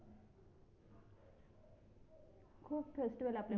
खूप festival आपल्या